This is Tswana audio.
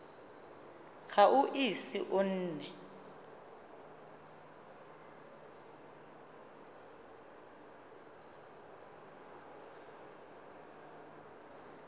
ga o ise o nne